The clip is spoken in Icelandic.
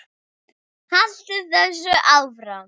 Haltu þessu áfram.